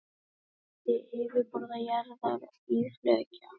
Skipting yfirborðs jarðar í fleka.